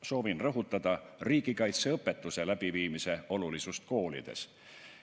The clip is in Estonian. Soovin rõhutada riigikaitseõpetuse läbiviimise olulisust koolides.